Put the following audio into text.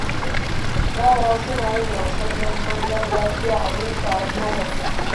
Yara suna yin wasan damben gargajiya a wurin taron maƙwabta.